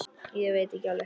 Ég veit ekki alveg.